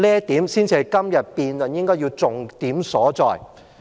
這才是今天辯論的重點所在。